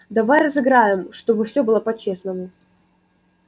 давай разыграем чтобы все было по-честному